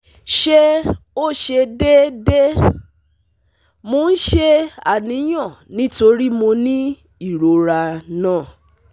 Se o se deede? Mo n se aniyan nitori mo ni irora na